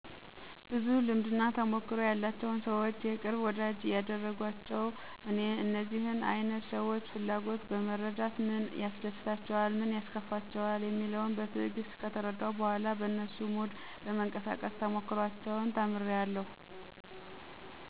ብዙ ልምድና ተሞክሮ ያላቸውን ሰዎች የቅርብ ወዳጂ ያድርጓቸው። እኔ የእነዚህን አይነት ሰዎች ፍላጎት በመረዳት ምን ያስደስታቸዋል? ምንስ ያስከፋቸዋል? የሚለውን በትዕግስት ከተረዳሁ በኋላ በነሱ ሙድ በመንቀሳቀስ ተሞክሮአቸውን ተምሬአለሁ።